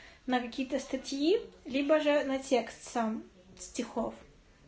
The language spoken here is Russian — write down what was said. на какие-то статьи либо же на текст сам стихов